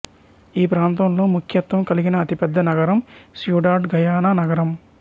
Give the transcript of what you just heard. ఈప్రాంతంలో ముఖ్యత్వం కలిగిన అతిపెద్ద నగరం సియుడాడ్ గయానా నగరం